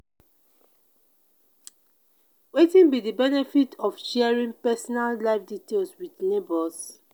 wetin be di benefit of sharing personal life details with neighbors?